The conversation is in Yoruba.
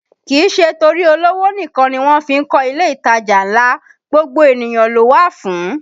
Kìí ṣe torí olówó nìkan ni wọ́n fí ń kọ ilé ìtajà ńlá, gbogbo ènìyàn ló wà fún